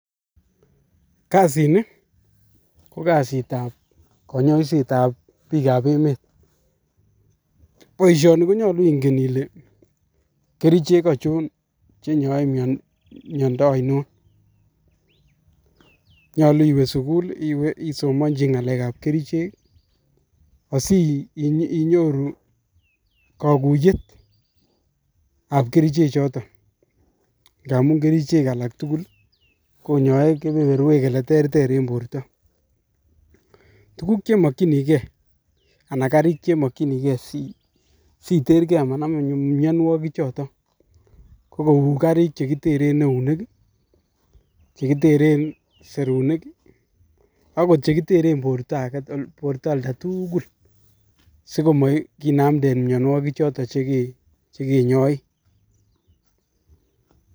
kasini ko kasitab konyoisetab bikab emet, boishoni konyolu ingen Ile kerichek achon che nyoe miondo ainon. Nyolu iwe sugul I,isomonchi ngalekab kerichek asi inyoru kakuyetab kerichechoton. Ngamun kerichek alak tugul konyoe kebeberwek cheterter en borto. Tuguk chemokyinige sitergee komanamin mionwogik chiton ko kou karik chekiteren eunek, che kiteren serunik. ak chekiteren borto oldatugul sikomakinamden miowogik choton